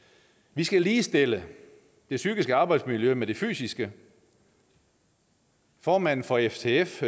vi skal ligestille det psykiske arbejdsmiljø med det fysiske formanden for ftf